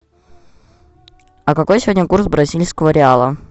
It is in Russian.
а какой сегодня курс бразильского реала